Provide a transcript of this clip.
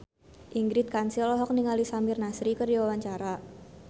Ingrid Kansil olohok ningali Samir Nasri keur diwawancara